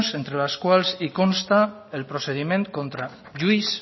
entre les cuells i consta el procediment contra lluís